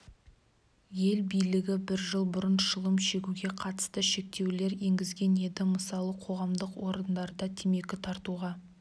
ел билігі бір жыл бұрын шылым шегуге қатысты шектеулер енгізген еді мысалы қоғамдық орындарда темекі тартуға